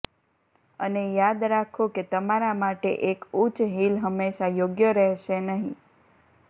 અને યાદ રાખો કે તમારા માટે એક ઉચ્ચ હીલ હંમેશા યોગ્ય રહેશે નહીં